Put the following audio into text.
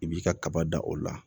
I b'i ka kaba da o la